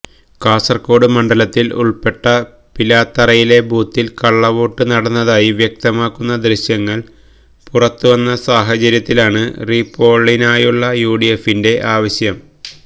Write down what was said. കാസർകോട് മണ്ഡലത്തിൽ ഉൾപ്പെട്ട പിലാത്തറയിലെ ബൂത്തിൽ കള്ളവോട്ട് നടന്നതായി വ്യക്തമാക്കുന്ന ദൃശ്യങ്ങൾ പുറത്തുവന്ന സാഹചര്യത്തിലാണ് റീപോളിനായുള്ള യുഡിഎഫിന്റെ ആവശ്യം